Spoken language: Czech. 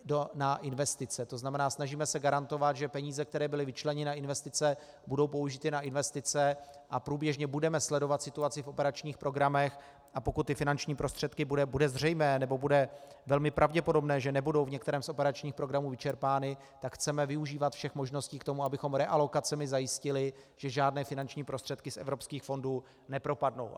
To znamená, snažíme se garantovat, že peníze, které byly vyčleněny na investice, budou použity na investice, a průběžně budeme sledovat situaci v operačních programech, a pokud ty finanční prostředky bude zřejmé nebo bude velmi pravděpodobné, že nebudou v některém z operačních programů vyčerpány, tak chceme využívat všech možností k tomu, abychom realokacemi zajistili, že žádné finanční prostředky z evropských fondů nepropadnou.